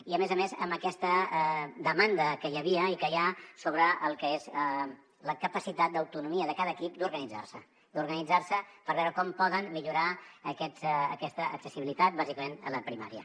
i a més a més amb aquesta demanda que hi havia i que hi ha sobre el que és la capacitat d’autonomia de cada equip d’organitzar se d’organitzar se per veure com poden millorar aquesta accessibilitat bàsicament a la primària